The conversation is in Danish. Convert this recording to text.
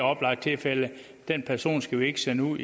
oplagt tilfælde den person skal vi ikke sende ud